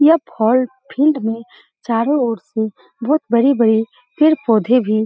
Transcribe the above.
यह फील्ड में चारो ओर से बहुत बड़ी-बड़ी पौधे भी --